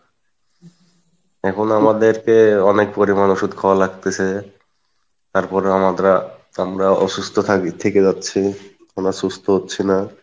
এখন আমাদেরকে অনেক পরিমাণ ওষুধ খাওয়া লাগতেসে তারপরেও আমাদের আর আমরা অসুস্থ থাকি থেকে যাচ্ছি, কোনো সুস্থ হচ্ছি না,